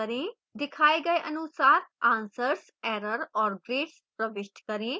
दिखाए गए अनुसार answers error और grades प्रविष्ट करें